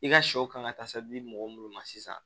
I ka sɛw kan ka taa se di mɔgɔ munnu ma sisan